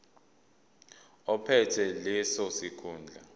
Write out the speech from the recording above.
ophethe leso sikhundla